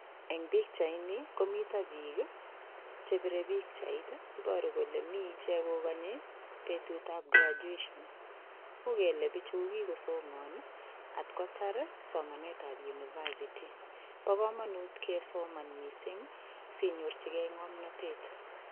Eng' pikchaini komito biik chepirei pikchait iboru kole mii ichek kokonyo betutab graduation uu kele bichu kokikosomon atkotar somanetab university bo kamanut kosoman mising' sinyorchigei ng'omnotet